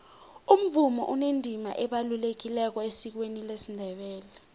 umvumo unendima ebalulekileko esikweni lesindebele